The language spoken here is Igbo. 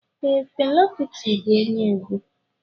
Ee, Fela Kuti bụ onye egwu.